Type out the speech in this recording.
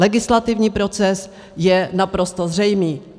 Legislativní proces je naprosto zřejmý.